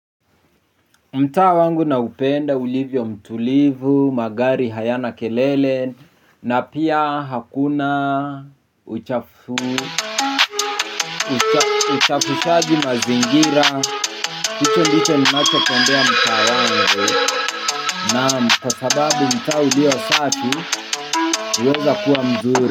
Mtaa wangu naupenda ulivyo mtulivu, magari hayana kelele. Na pia hakuna uchafushaji mazingira hicho ndicho ninacho tendea mtaa wangu. Na kwa sababu mta ulio safi uweza kuwa mzuri.